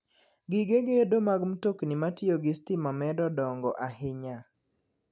Gige gedo mag mtokni matiyo gi stima medo dongo ahinya.